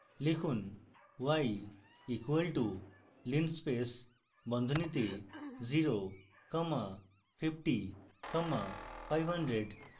লিখুন y equals to linspace বন্ধনীতে 0 comma 50 comma 500